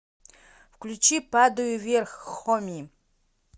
включи падаю вверх хоми